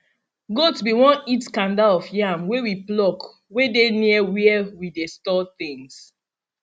goat be won eat kanda of yam wey we pluck wey dey near where we dey store things